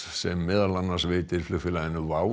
sem meðal annars veitir flugfélaginu